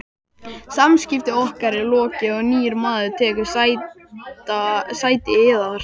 Samskiptum okkar er lokið og nýr maður tekur sæti yðar.